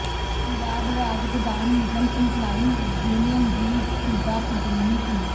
ਪੰਜਾਬ ਰਾਜ ਗੋਦਾਮ ਨਿਗਮ ਇੰਪਲਾਈਜ਼ ਯੂਨੀਅਨ ਦੀ ਸੂਬਾ ਪੱਧਰੀ ਮੀਟਿੰਗ